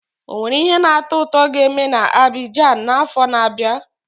Ọ nwere ihe na-atọ ụtọ ga-eme na Abidjan n'afọ na-abịa?